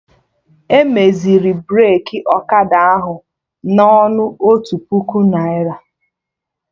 Emeziri Breki Ọkada ahụ na ọnụ otu puku naira